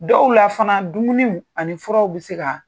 Dɔw la fana dumuniw ani furaw bɛ se ka